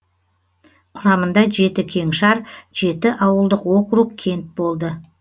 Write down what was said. құрамында жеті кеңшар жеті ауылдық округ кент болды